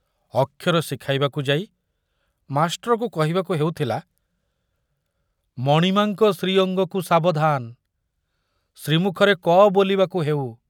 ଅକ୍ଷର ଶିଖାଇବାକୁ ଯାଇ ମାଷ୍ଟ୍ରକୁ କହିବାକୁ ହେଉଥିଲା, ମଣିମାଙ୍କ ଶ୍ରୀଅଙ୍ଗକୁ ସାବଧାନ, ଶ୍ରୀମୁଖରେ କ ବୋଲିବାକୁ ହେଉ।